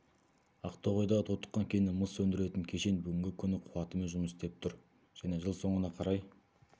ақтоғайдағы тотыққан кеннен мыс өндіретін кешен бүгінгі күні қуатымен жұмыс істеп тұр және жыл соңына қарай